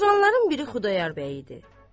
Oturanların biri Xudayar bəy idi.